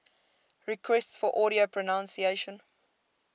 requests for audio pronunciation